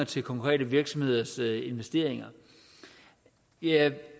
til konkrete virksomheders investeringer jeg